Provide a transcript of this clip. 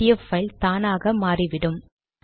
PDF file தானாக மாறிவிடும்